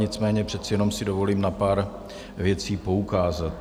Nicméně přece jenom si dovolím na pár věcí poukázat.